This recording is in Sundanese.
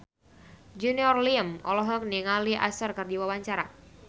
Junior Liem olohok ningali Usher keur diwawancara